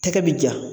Tɛgɛ bɛ ja